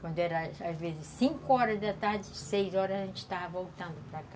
Quando era às vezes cinco horas da tarde, seis horas a gente já estava voltando para cá.